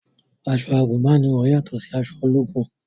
Aṣọ àgùnbánirọ̀ yàtọ̀ sí aṣọ ológun